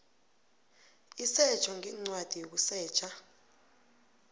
isetjho ngencwadi yokusetjha